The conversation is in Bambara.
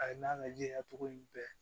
A ye n'a lajɛ a togo yi bɛɛ